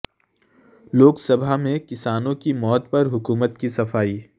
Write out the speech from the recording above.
لوک سبھامیں کسانوں کی موت پر حکومت کی صفائی